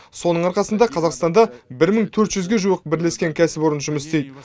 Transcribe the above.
соның арқасында қазақстанда бір мың төрт жүзге жуық бірлескен кәсіпорын жұмыс істейді